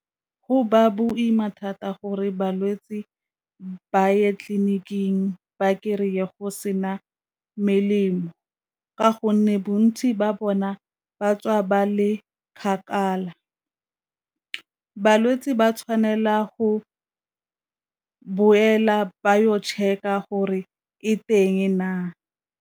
Go ba boima thata gore balwetse ba ye tleliniking ba kry-e go sena melemo ka gonne bontsi ba bona ba tswa ba le kgakala, balwetse ba tshwanela go boela ba yo check-a gore e teng na?